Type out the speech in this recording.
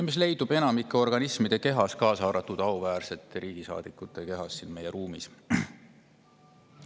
Neid leidub enamike organismide kehas, kaasa arvatud auväärsete rahvasaadikute kehas siin meie.